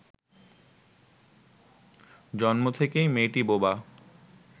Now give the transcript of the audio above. জন্ম থেকেই মেয়েটি বোবা